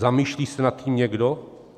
Zamýšlí se nad tím někdo?